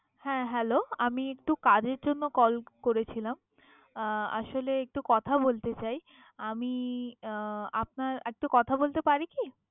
হ্যা, hello । আমি একটু কাজের জন্য call করেছিলাম। আহ আসলে একটু কথা বলতে চাই, আমি আহ আপনার একটু কথা বলতে পারি কি?